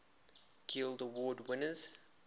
guild award winners